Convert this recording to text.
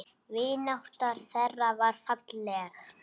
Vinátta þeirra var falleg.